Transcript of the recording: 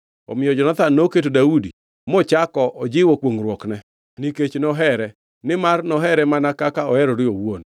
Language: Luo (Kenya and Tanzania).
Omiyo Jonathan noketo Daudi mochako ojiwo kwongʼruokne nikech nohere, nimar nohere mana kaka oherore owuon.